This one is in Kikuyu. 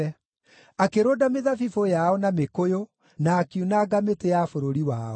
akĩrũnda mĩthabibũ yao, na mĩkũyũ, na akiunanga mĩtĩ ya bũrũri wao.